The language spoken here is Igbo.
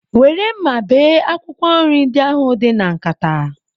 Were mma bee akwụkwọ nri ndị ahụ dị na nkata